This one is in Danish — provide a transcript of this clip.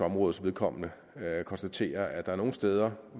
områdes vedkommende konstatere at der er nogle steder